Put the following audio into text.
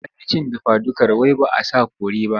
Ta ƙi cin dafadukar wai ba a sa kori ba.